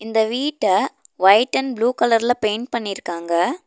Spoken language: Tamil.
இந்த வீட்ட வைட் அண்ட் ப்ளூ கலர்ல பெயிண்ட் பண்ணிருக்காங்க.